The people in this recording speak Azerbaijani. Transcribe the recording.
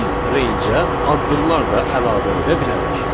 Biz rangeə addımlar da əlavə edə bilərik.